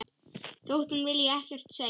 Þótt hún vilji ekkert segja.